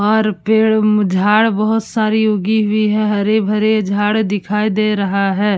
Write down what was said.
और पेड़ म झाड़ बहोत साडी उगी हुई है हरी-भरी झाड़ दिखाई दे रहा है।